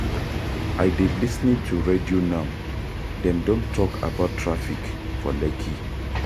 I dey lis ten to radio now, dem don talk about traffic for Lekki.